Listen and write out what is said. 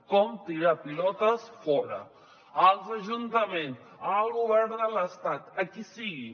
com tirar pilotes fora als ajuntaments al govern de l’estat a qui sigui